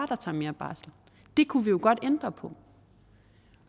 der tager mere barsel det kunne vi jo godt ændre på